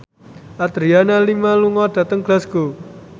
Adriana Lima lunga dhateng Glasgow